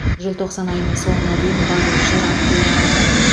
желтоқсан айының соңына дейін барлық жер актілері алынады